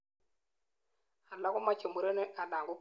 alak komochei murenik anan ko kwonyik